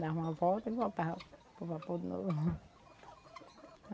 Dá uma volta e voltava para o vapor de novo.